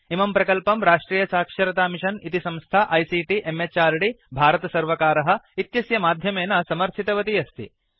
इमं प्रकल्पं राष्ट्रियसाक्षरतामिषन् इति संस्था आईसीटी म्हृद् भारतसर्वकार इत्यस्य माध्यमेन समर्थितवती अस्ति